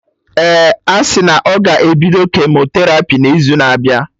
Ee, asị na ọ ga-ebido kemoterapi n'izu na abịa